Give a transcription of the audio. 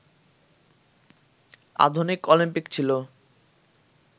আধুনিক অপিম্পিক ছিল